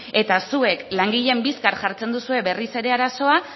eta zuek langileen bizkar jartzen duzue berriz ere arazoa